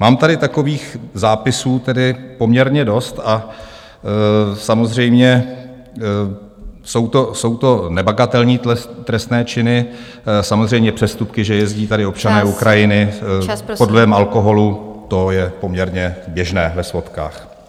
Mám tady takových zápisů tedy poměrně dost a samozřejmě jsou to nebagatelní trestné činy, samozřejmě přestupky, že jezdí tady občané Ukrajiny pod vlivem alkoholu, to je poměrně běžné ve svodkách.